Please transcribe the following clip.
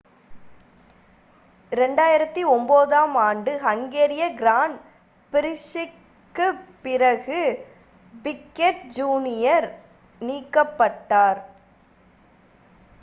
2009 ஆம் ஆண்டு ஹங்கேரிய கிராண்ட் பிரிக்ஸிற்குப் பிறகு பிக்கெட் ஜூனியர் நீக்கப்பட்டார்